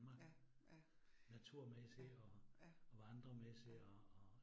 Ja ja, ja ja, ja